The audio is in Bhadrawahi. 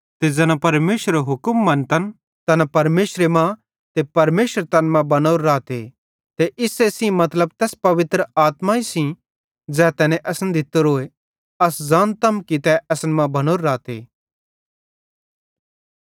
ते ज़ैना परमेशरेरो हुक्म मन्तन तैना परमेशरे मां ते परमेशर तैन मां बनोरो रहते ते इस्से सेइं मतलब तैस पवित्र आत्मा सेइं ज़ै तैने असन दित्तोरोए अस ज़ानतम कि तै असन मां बनोरो रहते